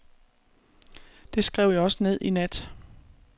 Det skrev jeg også ned i nat.